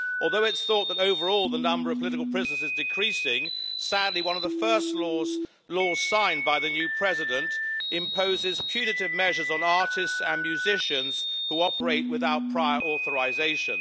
Although it's thought that, overall, the number of political prisoners is decreasing, sadly, one of the first laws signed by the new President imposes punitive measures on artists and musicians who operate without prior authorisation.